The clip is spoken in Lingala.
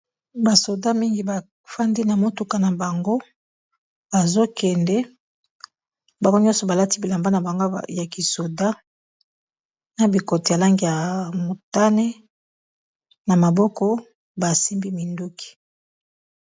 Ba soda mingi bafandi na motuka na bango bazokende bango nyonso balati bilamba na bango ya kisoda na bikoti ya langi ya motane na maboko basimbi minduki.